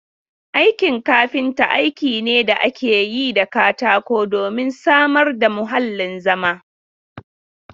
Aikin kafinta aiki ne da ake yi da katako domin samar da muhallin zama.